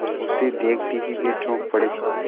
उसे देखते ही वे चौंक पड़े